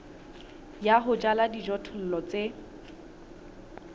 ya ho jala dijothollo tse